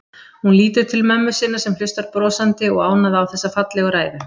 Hún lítur til mömmu sinnar sem hlustar brosandi og ánægð á þessa fallegu ræðu.